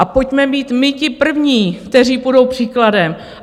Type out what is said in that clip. A pojďme být my ti první, kteří půjdou příkladem.